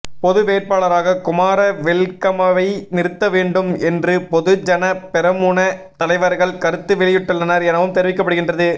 பொதுவேட்பாளராக குமார வெல்கமவை நிறுத்த வேண்டும் என்றுபொதுஜன பெரமுன தலைவர்கள் கருத்து வெளியிட்டுள்ளனர் எனவும் தெரிவிக்கப்படுகின்றது